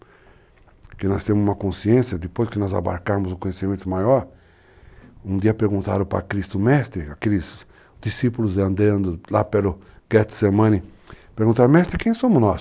Porque nós temos uma consciência, depois que nós abarcarmos um conhecimento maior, um dia perguntaram para Cristo, Mestre, aqueles discípulos andando lá pelo Getsemani, perguntaram, Mestre, quem somos nós?